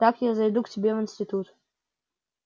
так я зайду к тебе в институт